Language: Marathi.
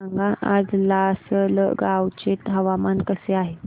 सांगा आज लासलगाव चे हवामान कसे आहे